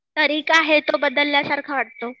तरिका आहे तो बदलल्यासारखा वाटतो.